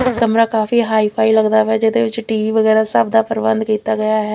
ਮੇਰਾ ਕਮਰਾ ਕਾਫੀ ਹਾਈ_ਫਾਈ ਲੱਗਦਾ ਪਿਆ ਹੈ ਜਿਹਦੇ ਵਿੱਚ ਟੀ ਵੀ ਵਗੈਰਾ ਸਭ ਦਾ ਪ੍ਰਬੰਧ ਕੀਤਾ ਗਿਆ ਹੈ।